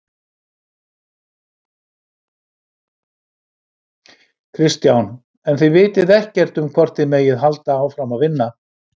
Kristján: En þið vitið ekkert um hvort þið megið halda áfram að vinna?